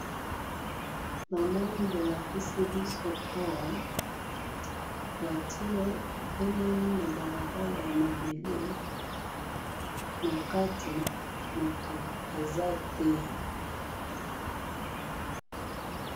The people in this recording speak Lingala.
Namoni bolakisi bisoawa voiture etelemi na balabala ya mabele, na kati mutu aza té